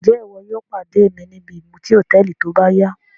Njẹ iwo yóò pade mi nìbí ìmuti hotẹẹli tóbáya?